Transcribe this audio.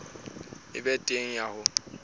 e be teng ya ho